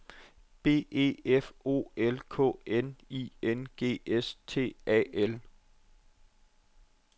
B E F O L K N I N G S T A L